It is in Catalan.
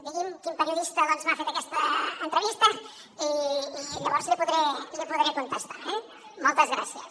digui’m quin periodista doncs m’ha fet aquesta entrevista i llavors li podré contestar eh moltes gràcies